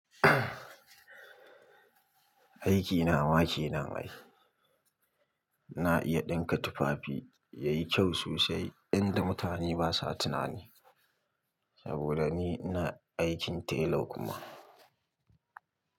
Aiki na ma kenan ai. Na iya ɗinka tufafi yayi kyau sosai yadda mutane basa tunani. Saboda ni ina aikin tailor kuma.